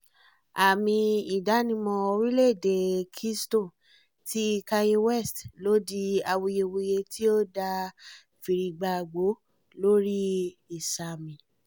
aàmì ìdánimọ̀ orílẹ̀ èdèe kingston ti kanye west ló di awuyewuye tí ó dá fìrìgbagbòó lórí ìsààmì